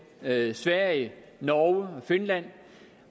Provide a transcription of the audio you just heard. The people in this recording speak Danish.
sverige sverige norge og finland